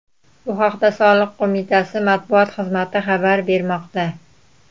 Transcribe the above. Bu haqda soliq qo‘mitasi matbuot xizmati xabar bermoqda.